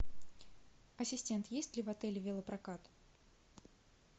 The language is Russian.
ассистент есть ли в отеле велопрокат